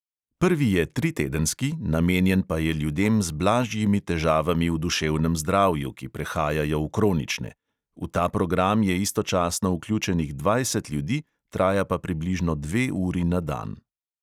Prvi je tritedenski, namenjen pa je ljudem z blažjimi težavami v duševnem zdravju, ki prehajajo v kronične. v ta program je istočasno vključenih dvajset ljudi, traja pa približno dve uri na dan.